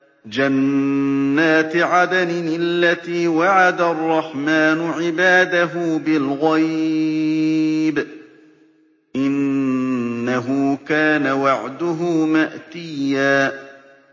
جَنَّاتِ عَدْنٍ الَّتِي وَعَدَ الرَّحْمَٰنُ عِبَادَهُ بِالْغَيْبِ ۚ إِنَّهُ كَانَ وَعْدُهُ مَأْتِيًّا